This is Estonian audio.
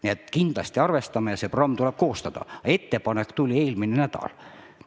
Nii et kindlasti arvestame ja see programm tuleb koostada, aga ettepanek tuli alles eelmisel nädalal.